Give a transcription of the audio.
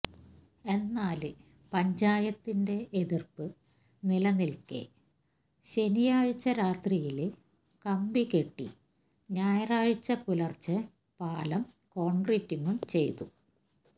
എന്നാല് പഞ്ചായത്തിന്റെ എതിര്പ്പ് നിലനില്ക്കെ ശനിയാഴ്ച രാത്രിയില് കമ്പികെട്ടി ഞായറാഴ്ച പുലര്ച്ചെ പാലം കോണ്ക്രിറ്റിംഗും ചെയ്തു